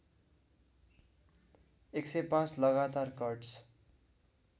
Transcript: १०५ लगातार कट्स